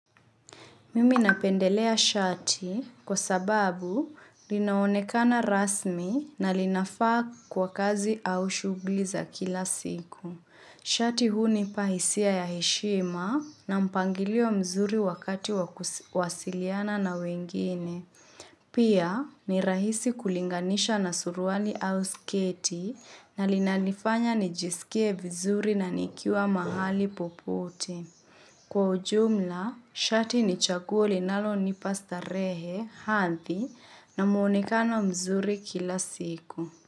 Mimi napendelea shati kwa sababu linaonekana rasmi na linafaa kwa kazi au shughuli za kila siku. Shati hunipa hisia ya heshima na mpangilio mzuri wakati wakusiliana na wengine. Pia ni rahisi kulinganisha na suruali au sketi na linanifanya nijisikie vizuri na nikiwa mahali poputi. Kwa ujumla, shati ni chaguo linalonipa starehe hadhi na muonekana mzuri kila siku.